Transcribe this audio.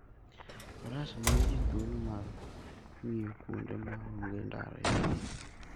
Faras miyo ji thuolo mar ng'iyo kuonde ma onge ndara e thim.